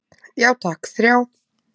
Já takk, þrjá.